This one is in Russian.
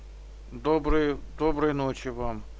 добрый доброй ночи вам